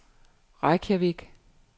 Reykjavik